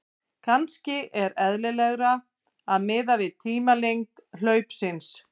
En kannski er eðlilegra að miða við tímalengd hlaupsins.